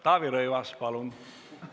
Taavi Rõivas, palun!